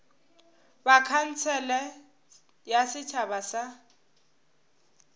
ba khansele ya setšhaba ya